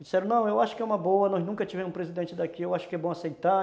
Disseram, não, eu acho que é uma boa, nós nunca tivemos um presidente daqui, eu acho que é bom aceitar.